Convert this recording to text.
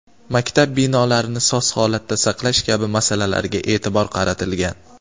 maktab binolarini soz holatda saqlash kabi masalalarga e’tibor qaratilgan.